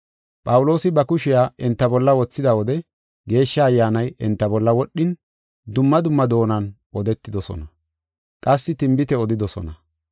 Phawuloosi ba kushiya enta bolla wothida wode Geeshsha Ayyaanay enta bolla wodhin, dumma dumma doonan odetidosona; qassi tinbite odidosona.